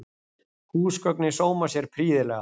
Húsgögnin sóma sér prýðilega